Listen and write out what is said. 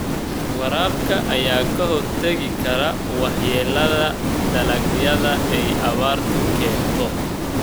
Waraabka ayaa ka hortagi kara waxyeelada dalagyada ay abaartu keento.